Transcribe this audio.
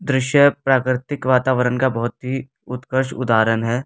दृश्य प्राकृतिक वातावरण का बहुत ही उत्कर्ष उदाहरण है।